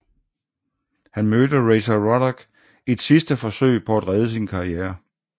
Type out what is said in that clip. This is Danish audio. Han mødte Razor Ruddock i et sidste forsøg på at redde sin karriere